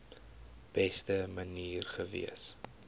beste manier gewees